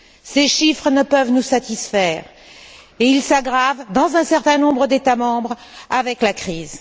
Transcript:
Ces chiffres ne peuvent nous satisfaire et ils s'aggravent dans un certain nombre d'États membres avec la crise.